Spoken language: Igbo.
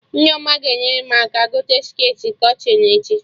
Nneoma ga-enyere m aka gote shirtị kọtịn echi